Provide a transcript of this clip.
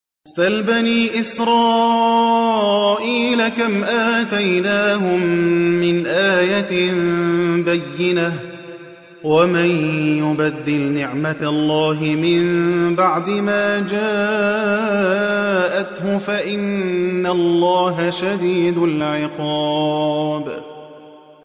سَلْ بَنِي إِسْرَائِيلَ كَمْ آتَيْنَاهُم مِّنْ آيَةٍ بَيِّنَةٍ ۗ وَمَن يُبَدِّلْ نِعْمَةَ اللَّهِ مِن بَعْدِ مَا جَاءَتْهُ فَإِنَّ اللَّهَ شَدِيدُ الْعِقَابِ